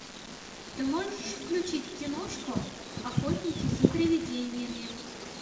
ты можешь включить киношку охотники за привидениями